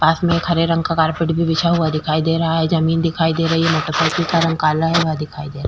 पास में एक हरे रंग का कारपेट भी बिछा हुआ दिखाई दे रहा है । जमीन दिखाई दे रही है । मोटरसाइकिल का रंग काला है । यह दिखाई दे रहा --